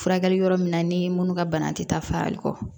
Furakɛli yɔrɔ min na ni minnu ka bana tɛ taa farali kɔ